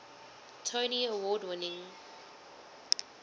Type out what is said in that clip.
tony award winning